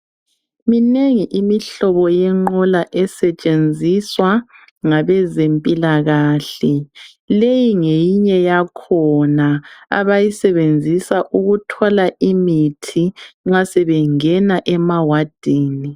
Minengi imihlobo yenqola esetshenziswa ngabezempilakahle, leyi ngeyinye yakhona abayisenenzisa ukuthwala imithi nxa sebengena emawadini.